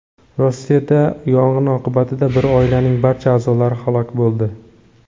Rossiyada yong‘in oqibatida bir oilaning barcha a’zolari halok bo‘ldi.